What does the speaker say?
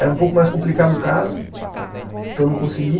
Era um pouco mais complicado casa, então não consegui.